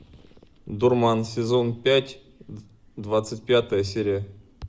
дурман сезон пять двадцать пятая серия